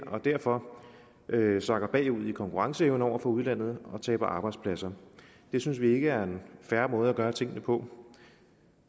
og derfor sakker bagud i konkurrenceevne over for udlandet og taber arbejdspladser det synes vi ikke er en fair måde at gøre tingene på